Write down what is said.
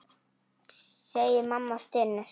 segir mamma og stynur.